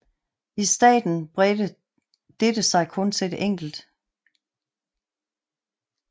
I starten bredte dette sig kun til enkelt spillene